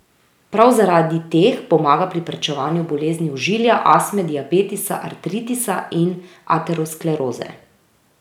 Prav zaradi teh pomaga pri preprečevanju bolezni ožilja, astme, diabetesa, artritisa in ateroskleroze.